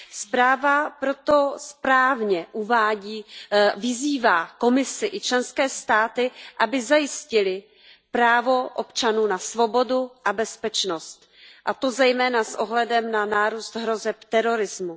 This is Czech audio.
Zpráva proto správně vyzývá Komisi i členské státy, aby zajistily právo občanů na svobodu a bezpečnost, a to zejména s ohledem na nárůst hrozeb terorismu.